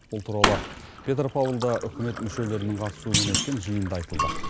бұл туралы петропавлда үкімет мүшелерінің қатысуымен өткен жиында айтылды